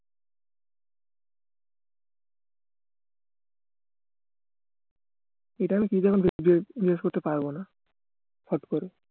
এটা আমি বিশ্বাস করতে পারবোনা